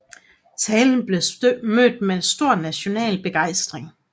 Talen blev mødt med stor national begejstring